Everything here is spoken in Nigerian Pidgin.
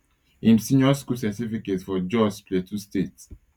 im senior school certificate for jos plateau state